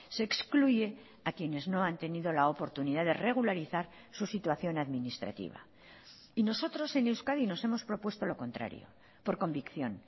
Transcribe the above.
se excluye a quienes no han tenido la oportunidad de regularizar su situación administrativa y nosotros en euskadi nos hemos propuesto lo contrario por convicción